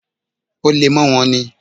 Ó le mọ́ wọn ní.